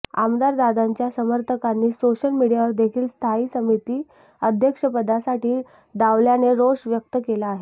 आमदार दादांच्या समर्थकांनी सोशल मीडियावर देखील स्थायी समिती अध्यक्षपदासाठी डावलल्याने रोष व्यक्त केला आहे